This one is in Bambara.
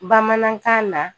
Bamanankan na